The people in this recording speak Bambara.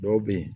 Dɔw be yen